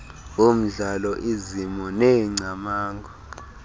womdlalo izimo neengcamango